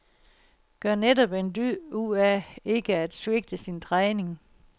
Gør netop en dyd ud af ikke at svigte sin træning.